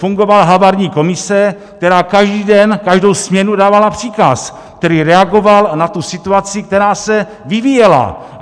Fungovala havarijní komise, která každý den, každou směnu dávala příkaz, který reagoval na tu situaci, která se vyvíjela.